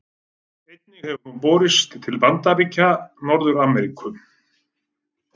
Einnig hefur hún borist til Bandaríkja Norður-Ameríku.